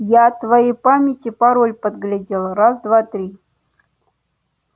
я от твоей памяти пароль подглядел раз-два-три